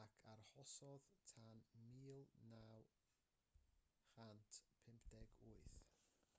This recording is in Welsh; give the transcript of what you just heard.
ac arhosodd tan 1958